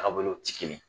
Tagabolow tɛ kelen ye